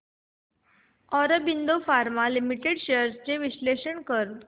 Aurobindo pharma limited shares चे विश्लेषण कर